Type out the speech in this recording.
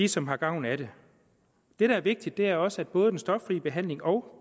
som har gavn af det det der er vigtigt er også at både den stoffri behandling og